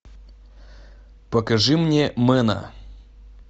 покажи мне мена